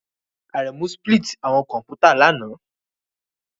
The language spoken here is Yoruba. Aremu spilt awọn kọmputa lana